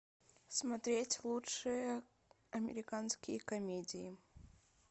смотреть лучшие американские комедии